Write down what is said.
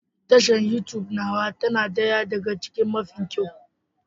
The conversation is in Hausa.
Tashar Youtube nawa ta na ɗaya daga cikin mafi kyau